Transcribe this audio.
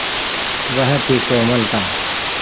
वह थी कोमलता